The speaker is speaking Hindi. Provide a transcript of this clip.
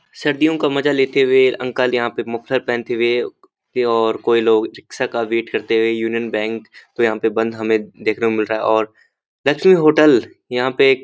सर्दियों का मजा लेते हुए अंकल यहां पर मफलर पहनते हुए और कोई लोग रिक्शा का वेट करते हुए यूनियन बैंक तो यहां पे बंद हमें देखने को मिल रहा और लक्ष्मी होटल यहां पे --